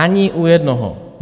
Ani u jednoho!